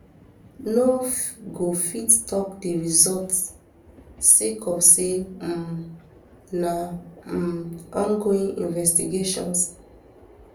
no go fit tok di test results sake of say um na um ongoing investigations